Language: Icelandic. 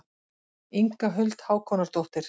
Inga Huld Hákonardóttir.